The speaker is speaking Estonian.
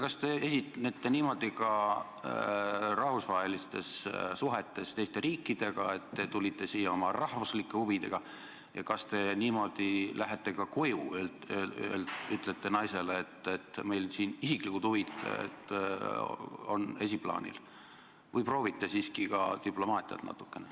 Kas te esinete niimoodi ka rahvusvahelistes suhetes, suheldes teiste riikidega, et te tulite siia oma rahvuslike huvidega, ning kui te lähete koju, kas te siis ütlete ka naisele niimoodi, et meil siin on isiklikud huvid esiplaanil, või proovite siiski natukene ka diplomaatiat?